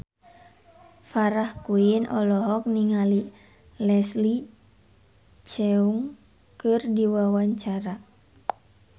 Farah Quinn olohok ningali Leslie Cheung keur diwawancara